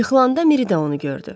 Yıxılanda Miri də onu gördü.